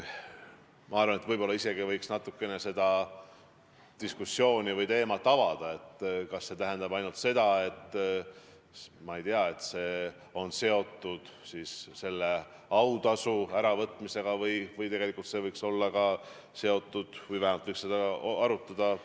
Võib-olla võiks isegi natukene seda diskussiooni või teemat avada: kas see tähendab ainult seda, et karistus on seotud autasu äravõtmisega, või võiks see olla seotud ka preemiate äravõtmisega.